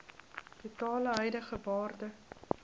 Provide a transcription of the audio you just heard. totale huidige waarde